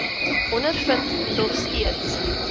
ondervind nog steeds